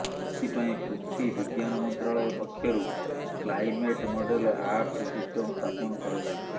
ଏଥିପାଇଁ ପୃଥ୍ବୀ ବିଜ୍ଞାନ ମନ୍ତ୍ରାଳୟ ପକ୍ଷରୁ କ୍ଲାଇମେଟ୍ ମଡେଲ ଆର୍ଥ ସିଷ୍ଟମ୍ ସ୍ଥାପନ କରାଯାଇଛି